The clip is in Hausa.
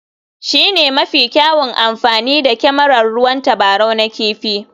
Shi ne mafi kyawun amfani da kyamarar ruwan tabarau na kifi.